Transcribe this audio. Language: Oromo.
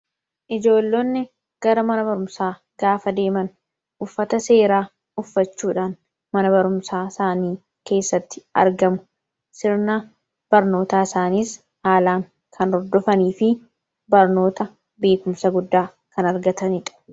ijoollonni gara mana barumsaa gaafa deeman uffata seeraa uffachuudhaan mana barumsaa isaanii keessatti argamu sirna barnootaa isaaniis aalaan kan ordofanii fi barnoota beekumsa guddaa kan argataniidha